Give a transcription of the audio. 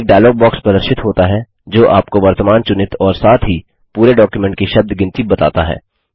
एक dialog box प्रदर्शित होता है जो आपको वर्तमान चुनित और साथ ही पूरे डॉक्युमेंट की शब्द गिनती बताता है